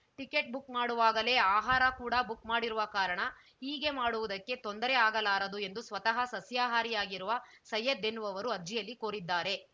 ticket book ಮಾಡುವಾಗಲೇ ಆಹಾರ ಕೂಡಾ ಬುಕ್‌ ಮಾಡಿರುವ ಕಾರಣ ಹೀಗೆ ಮಾಡುವುದಕ್ಕೆ ತೊಂದರೆ ಆಗಲಾರದು ಎಂದು ಸ್ವತಃ ಸಸ್ಯಾಹಾರಿಯಾಗಿರುವ ಸೈಯದ್‌ ಎನ್ನುವವರು ಅರ್ಜಿಯಲ್ಲಿ ಕೋರಿದ್ದಾರೆ